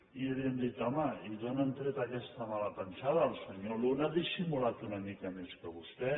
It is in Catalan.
i li hem dit home i d’on han tret aquesta mala pensada el senyor luna ha dissimulat una mica més que vostè